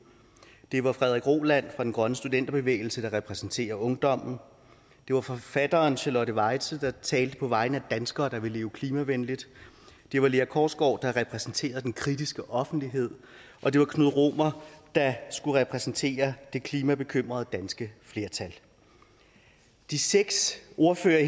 det var frederik roland fra den grønne studenterbevægelse der repræsenterer ungdommen det var forfatteren charlotte weitze der talte på vegne af danskere der vil leve klimavenligt det var lea korsgaard der repræsenterede den kritiske offentlighed og det var knud romer der skulle repræsentere det klimabekymrede danske flertal de seks ordførere